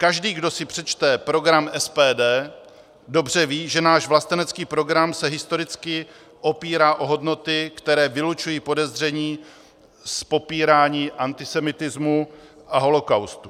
Každý, kdo si přečte program SPD, dobře ví, že náš vlastenecký program se historicky opírá o hodnoty, které vylučují podezření z popírání antisemitismu a holokaustu.